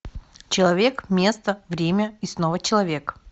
человек место время и снова человек